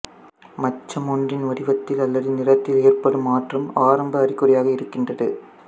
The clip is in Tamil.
மச்சம் ஒன்றின் வடிவத்தில் அல்லது நிறத்தில் ஏற்படும் மாற்றம் ஆரம்ப அறிகுறியாக இருக்கின்றது